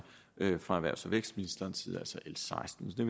fra erhvervs og vækstministerens side altså l seksten så